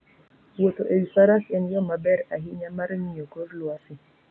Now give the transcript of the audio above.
Wuotho e wi faras en yo maber ahinya mar ng'iyo kor lwasi.